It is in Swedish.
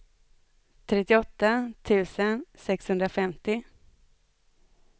trettioåtta tusen sexhundrafemtio